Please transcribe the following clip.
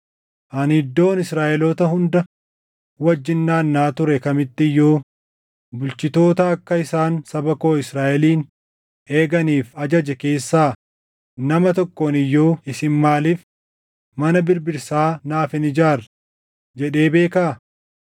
Ani iddoon Israaʼeloota hunda wajjin naannaʼaa ture kamitti iyyuu bulchitoota akka isaan saba koo Israaʼelin eeganiif ajaje keessaa nama tokkoon iyyuu, “Isin maaliif mana birbirsaa naaf hin ijaarre?” jedhee beekaa?’